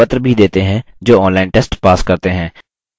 उनको प्रमाणपत्र भी देते हैं जो online test pass करते हैं